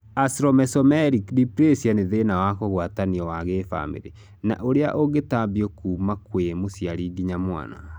Acromesomelic dysplasia nĩ thĩna wa kũgwatanio wa gĩbamĩrĩ na ũrĩa ũngĩtambio kuma kwĩ mũciari nginya mwana